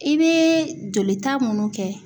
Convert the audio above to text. I bɛ jolita munnu kɛ.